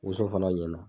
Woson fana ɲɛna